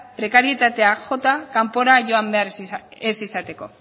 prekarietateak jota kanpora joan behar ez izateko